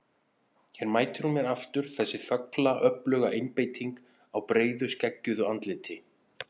Hér mætir hún mér aftur, þessi þögla öfluga einbeiting á breiðu skeggjuðu andliti.